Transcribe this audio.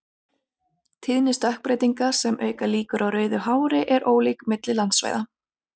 Tíðni stökkbreytinga sem auka líkur á rauðu hári er ólík milli landsvæða.